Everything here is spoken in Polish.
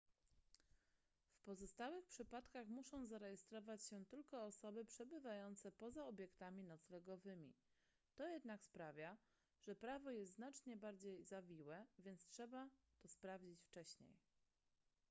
w pozostałych przypadkach muszą zarejestrować się tylko osoby przebywające poza obiektami noclegowymi to jednak sprawia że prawo jest znacznie bardziej zawiłe więc trzeba to sprawdzić wcześniej